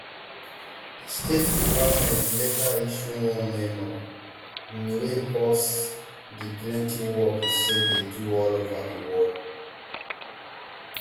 di state department later issue one memo um wey pause di plenty work usaid dey do all ova di world